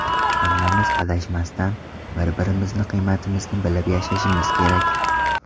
Hammamiz adashmasdan, bir-birimizni qiymatimizni bilib yashashimiz kerak.